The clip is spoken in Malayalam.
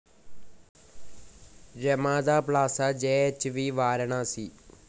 Ramada Plaza JH V Varanasi